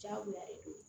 Diyagoya de don